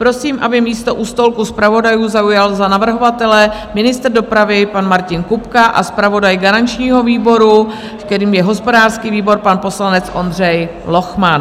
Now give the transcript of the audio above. Prosím, aby místo u stolku zpravodajů zaujal za navrhovatele ministr dopravy, pan Martin Kupka, a zpravodaj garančního výboru, kterým je hospodářský výbor, pan poslanec Ondřej Lochman.